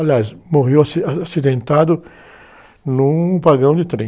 Aliás, morreu aci, acidentado num vagão de trem.